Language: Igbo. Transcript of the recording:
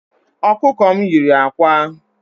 Okuko m yiri ákwà